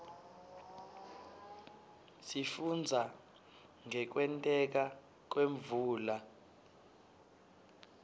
sifundza ngekwenteka kwemvula